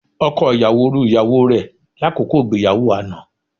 Ọkọ ìyàwó ru ìyàwó rẹ lákòókò ìgbéyàwó àná